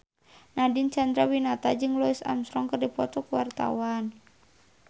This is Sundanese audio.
Nadine Chandrawinata jeung Louis Armstrong keur dipoto ku wartawan